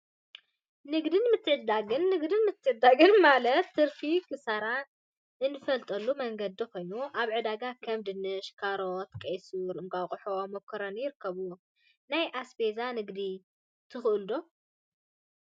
ንግድን ምትዕድዳግን ንግድን ምትዕድዳግን ማለት ትርፊን ኪሳራን እንፈልጠሉ መንገዲ ኮይኑ፤ አብ ዕዳጋ ከም ድንሽ፣ ካሮት፣ ቀይሱር፣ እንቋቁሖን መኮረኒን ይርከቡዎም፡፡ ናይ አስቤዛ ንግዲ ትክእሉ ዶ?